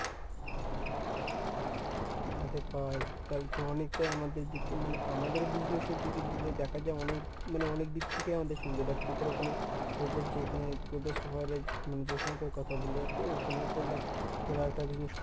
আরে ভাই! তালে তো অনেকটাই আমাদের দিকে মানে আমাদের business এর দিকে ‍যদি দেখা যায় অনেক মানে অনেকদিক থেকেই আমাদের সুবিধা। দেখ তোদের ওখানে তোদের যেখানে তোদের শহরে মানে যেখানকার কথা বললি আরকি ওখানেও তো দেখ তোরা একটা business